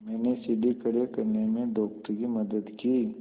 मैंने सीढ़ी खड़े करने में डॉक्टर की मदद की